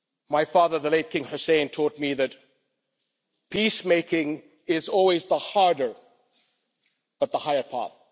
My father, the late King Hussein, taught me that peace making is always the harder but the higher path.